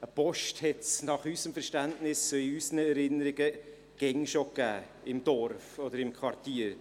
Eine Post hat es, nach unserem Verständnis, in unseren Erinnerungen, immer schon gegeben, im Dorf oder im Quartier.